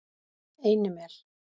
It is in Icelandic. Einimel